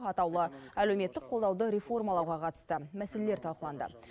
атаулы әлеуметтік қолдауды реформалауға қатысты мәселелер талқыланды